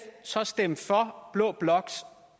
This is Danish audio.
så stemme for blå bloks